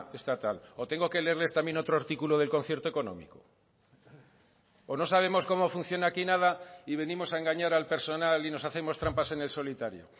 estatal o tengo que leerles también otro artículo del concierto económico o no sabemos cómo funciona aquí nada y venimos a engañar al personal y nos hacemos trampas en el solitario